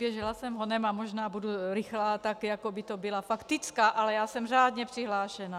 Běžela jsem honem a možná budu rychlá tak, jako by to byla faktická, ale já jsem řádně přihlášena.